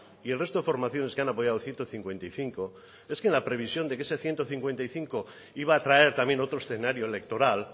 y el resto de formaciones que han apoyado el ciento cincuenta y cinco es que en la previsión de ese ciento cincuenta y cinco iba a traer también otro escenario electoral